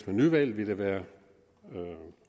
med nyvalg vil det være